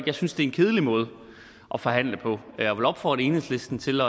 jeg synes det er en kedelig måde at forhandle på jeg vil opfordre enhedslisten til